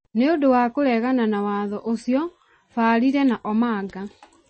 Nĩũndũ wa kũregana na watho ũcio, Mbarire na Omanga ,